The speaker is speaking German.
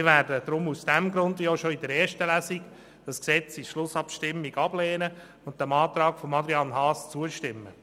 Wie bereits bei der ersten Lesung werden wir dieses Gesetz daher in der Schlussabstimmung ablehnen und dem Antrag von Grossrat Haas zustimmen.